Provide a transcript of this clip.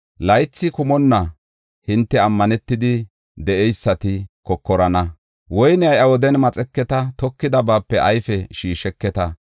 Laythi kumonna hinte ammanetidi de7eysati kokorana; woyne iya wodiyan maxeketa; tokidabaape ayfe shiisheketa.